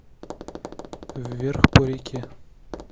вверх по реке